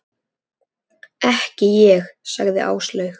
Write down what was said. Þau hefðu talað ærlega saman.